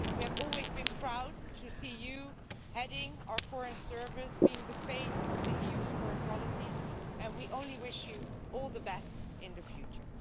We have always been proud to see you heading our Foreign Service, being the face of the EU's foreign policy and we only wish you all the best in the future.